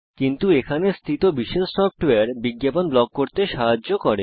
কিন্তু এখানে বিশেষ সফটওয়্যার রয়েছে যা বিজ্ঞাপন ব্লক করতে সাহায্য করে